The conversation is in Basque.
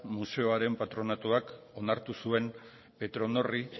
museoaren patronatuak onartu zuen petronorri